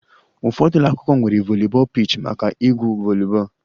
Ụfọdụ ụlọ akwụkwọ nwere volleyball pitch maka igwu volleyball